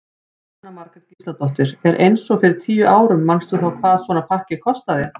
Jóhanna Margrét Gísladóttir: En eins og fyrir tíu árum manstu þá hvað svona pakki kostaði?